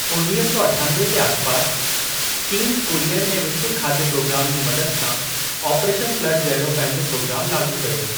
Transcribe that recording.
उणिवीह सौ अठानवे जे आसपास, चीन कुरियन ऐं विश्व खाद्य प्रोग्राम जी मदद सां ऑपरेशन फ्लड जहिड़ो पंहिंजो प्रोग्राम लाॻू कयो।